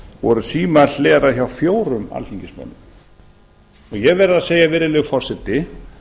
voru símar hleraðir hjá fjórum alþingismönnum ég verð að segja virðulegi forseti